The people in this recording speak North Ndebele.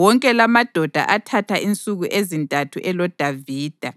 Wonke lamadoda athatha insuku ezintathu eloDavida,